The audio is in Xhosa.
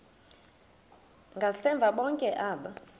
ngasemva bonke aba